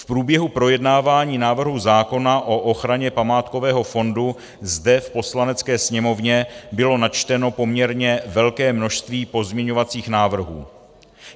V průběhu projednávání návrhu zákona o ochraně památkového fondu zde v Poslanecké sněmovně bylo načteno poměrně velké množství pozměňovacích návrhů.